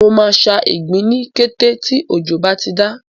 Mo máa ṣa ìgbín ní kété tí òjò bá ti dá.